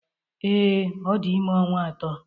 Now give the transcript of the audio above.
Ee, ọ dị ime ọnwa atọ.